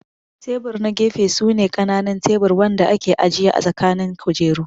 Tebur na gefe su ne kananun tebur Wanda ake ajiya ã tsakanin kujeru.